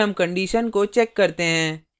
फिर हम condition को check करते हैं